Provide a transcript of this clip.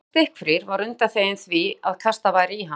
Sá sem var stikkfrí var undanþeginn því að kastað væri í hann.